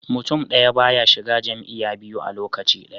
Mutun daya baya shiga jam'iya biyu a lokaci daya